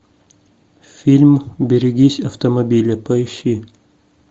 фильм берегись автомобиля поищи